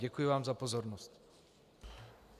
Děkuji vám za pozornost.